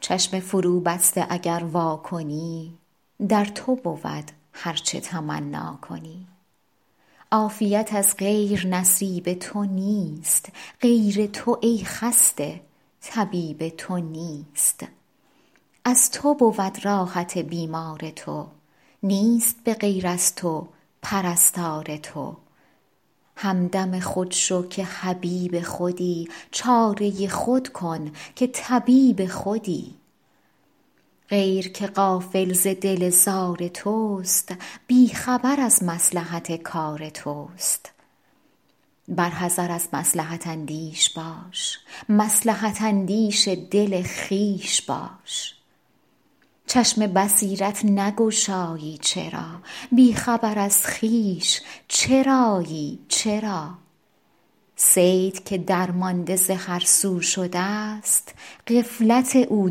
چشم فروبسته اگر وا کنی در تو بود هرچه تمنا کنی عافیت از غیر نصیب تو نیست غیر تو ای خسته طبیب تو نیست از تو بود راحت بیمار تو نیست به غیر از تو پرستار تو همدم خود شو که حبیب خودی چاره خود کن که طبیب خودی غیر که غافل ز دل زار توست بی خبر از مصلحت کار توست بر حذر از مصلحت اندیش باش مصلحت اندیش دل خویش باش چشم بصیرت نگشایی چرا بی خبر از خویش چرایی چرا صید که درمانده ز هرسو شده ست غفلت او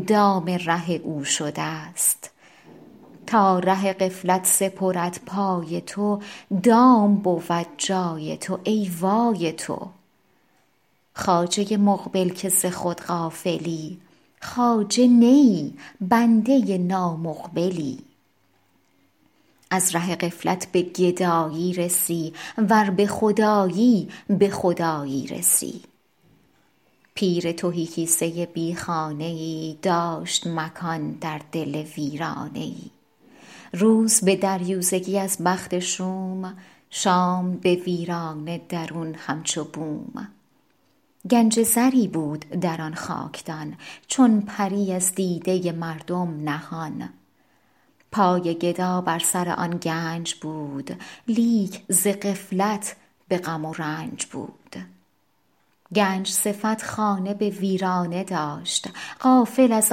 دام ره او شده ست تا ره غفلت سپرد پای تو دام بود جای تو ای وای تو خواجه مقبل که ز خود غافلی خواجه نه ای بنده نامقبلی از ره غفلت به گدایی رسی ور به خود آیی به خدایی رسی پیر تهی کیسه بی خانه ای داشت مکان در دل ویرانه ای روز به دریوزگی از بخت شوم شام به ویرانه درون همچو بوم گنج زری بود در آن خاکدان چون پری از دیده مردم نهان پای گدا بر سر آن گنج بود لیک ز غفلت به غم و رنج بود گنج صفت خانه به ویرانه داشت غافل از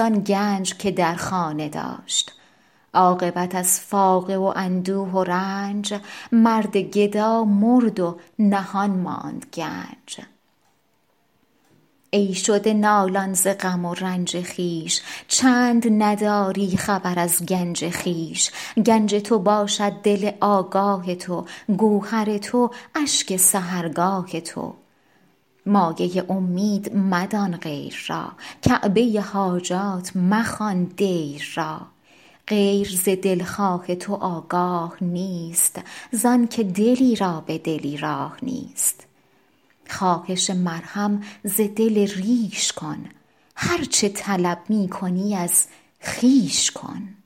آن گنج که در خانه داشت عاقبت از فاقه و اندوه و رنج مرد گدا مرد و نهان ماند گنج ای شده نالان ز غم و رنج خویش چند نداری خبر از گنج خویش گنج تو باشد دل آگاه تو گوهر تو اشک سحرگاه تو مایه امید مدان غیر را کعبه حاجات مخوان دیر را غیر ز دلخواه تو آگاه نیست زآن که دلی را به دلی راه نیست خواهش مرهم ز دل ریش کن هرچه طلب می کنی از خویش کن